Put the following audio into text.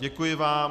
Děkuji vám.